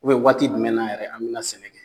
U biyɛn waati jumɛn na yɛrɛ an bi na sɛnɛ kɛ